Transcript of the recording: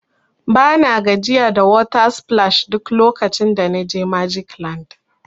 Bana gajiya da water splash duk lokacin da na je magic land.